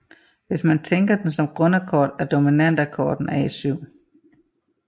Hvis man tænker den som grundakkord er dominantakkorden A7